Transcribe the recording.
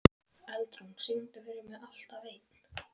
Eldrún, syngdu fyrir mig „Alltaf einn“.